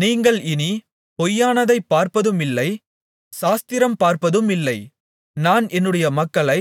நீங்கள் இனி பொய்யானதைப் பார்ப்பதுமில்லை சாஸ்திரம் பார்ப்பதுமில்லை நான் என்னுடைய மக்களை